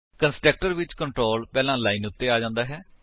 constructor ਵਿੱਚ control ਪਹਿਲੀ line ਉੱਤੇ ਆ ਜਾਂਦਾ ਹੈ